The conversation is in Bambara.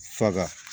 Faga